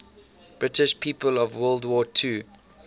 british people of world war ii